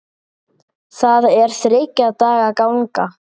Það er þriggja daga ganga.